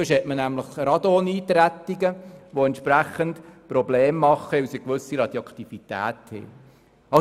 Denn sonst hat man Radoneintretungen, die durch eine gewisse Radioaktivität Probleme verursachen.